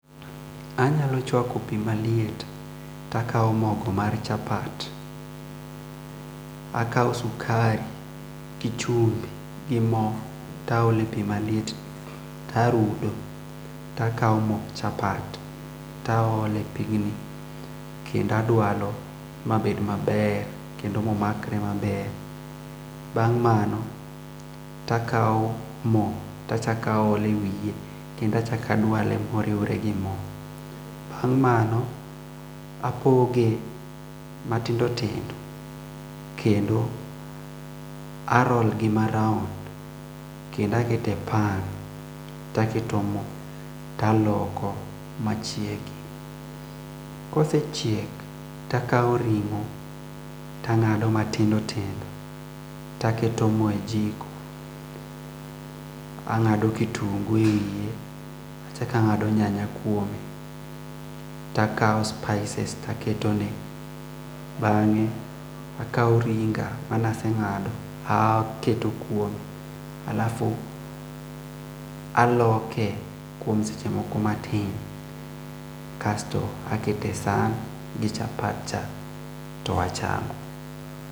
Anyalo chwako pii maliet ta kao mogo mar chapat akao sukari gi chumbi gi moo taole pii maliet tarudo takao mok chapat taole pigni kendo adwalo mabed maber kendo momakre maber bang' mano takao moo tachak aole wiye kendo achak adwale moriwore gi moo bang' mano apoge matindo tindo kendo apoge kendo a roll gi ma round kendo akete pan taketo moo taloko ma chiegi kosechiek takao ring'o tangado matindo tindo taketo moo e jiko angado kitungu e wiye achakangado kitungu e wiye ta nga'do nyanya kwome takao spices taketone bang'e akao ring'a manase ng'ado a o keto kwome alafu aloke kwom seche moko matin kasto akete san gi chapat cha to achamo.